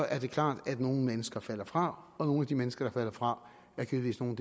er det klart at nogle mennesker falder fra og nogle af de mennesker falder fra er givetvis nogle